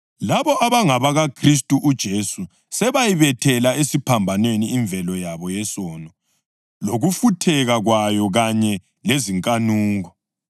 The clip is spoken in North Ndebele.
Labo abangabakaKhristu uJesu sebayibethela esiphambanweni imvelo yabo yesono lokufutheka kwayo kanye lezinkanuko.